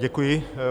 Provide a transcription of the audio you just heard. Děkuji.